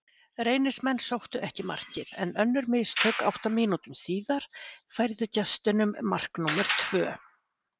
Reynismenn sóttu eftir markið, en önnur mistök átta mínútum síðar færðu gestunum mark númer tvö.